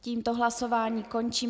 Tímto hlasování končím.